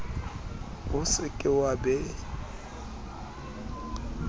o se ke wa be